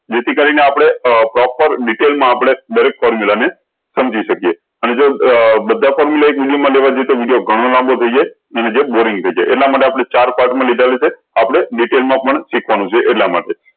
જે થી કરી ને આપળે આ proper detail મા આપળે દરેક formula ને સમજી સક્યે અને જો અ બધા formula એક વિડીયો મા લેવા જય્ય તો વિડીયો ઘણો લાંબો થઇ જાય અને વિડીયો boring થઇ જાય એટલા માટે આપળે ચાર part મા લીધાલે છે આપળે detail મા પણ શીખવાનું છે એટલા માટે